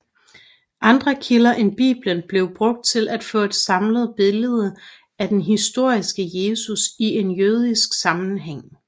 Andre kilder end Bibelen blev brugt til at få et samlet billede af den historiske Jesus i en jødisk sammenhæng